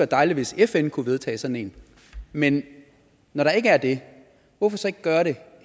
dejligt hvis fn kunne vedtage sådan en men når der ikke er det hvorfor så ikke gøre det